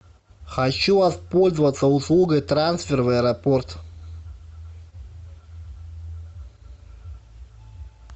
хочу воспользоваться услугой трансфер в аэропорт